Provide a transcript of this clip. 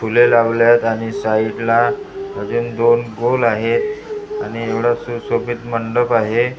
फुलं लावले आहेत आणि साईडला अजून दोन गोल आहेत आणि एवढा सुशोभित मंडप आहे.